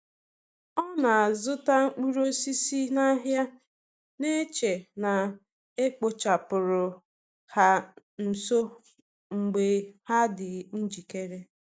O na-azụta mkpụrụ osisi n’ahịa, na-eche na e kpochapụrụ ha nso mgbe ha dị njikere.